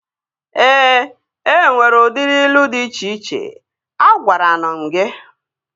Ee, enwere udiri ilu dị iche iche. Agwaranu m gị